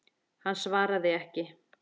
Hann svaraði ekki.